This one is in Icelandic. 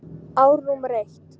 Ár númer eitt.